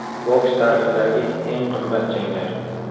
Boks tarixidagi eng qimmat janglar.